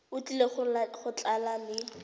o tlile go tla le